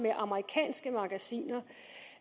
med amerikanske magasiner